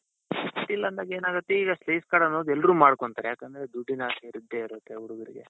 ಇಟ್ಟಿಲ್ಲ ಅಂದಾಗೇನಾಗುತ್ತೆ ಈಗ credit card ಅನ್ನೋದು ಎಲ್ರೂ ಮಾಡ್ಕೊಂತಾರೆ ಯಾಕಂದ್ರೆ ದುಡ್ಡಿನ ಅವಶ್ಯಕತೆ ಇದ್ದೆ ಇರುತ್ತೆ ಹುಡುಗರಿಗೆ.